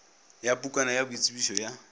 ya pukwana ya boitsebišo ya